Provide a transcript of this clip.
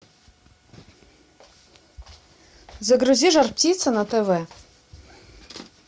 загрузи жар птица на тв